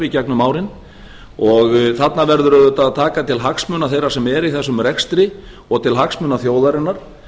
gegnum árin og þarna verður auðvitað að taka til hagsmuna þeirra sem eru í þessum rekstri og til hagsmuna þjóðarinnar